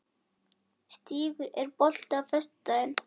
Stígur, er bolti á föstudaginn?